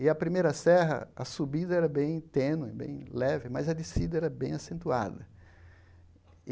E a primeira serra, a subida era bem tênue, bem leve, mas a descida era bem acentuada.